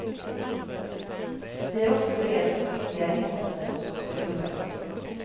Vi har också beredskap för ytterligare insatser om så skulle behövas.